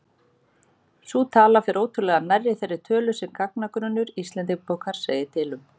Sú tala fer ótrúlega nærri þeirri tölu sem gagnagrunnur Íslendingabókar segir til um.